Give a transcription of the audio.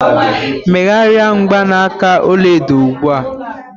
Megharịa mgbanaka ọlaedo a ugbu a!